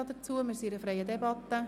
Wir sind in einer freien Debatte.